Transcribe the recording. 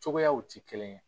Cogoyaw tɛ kelen ye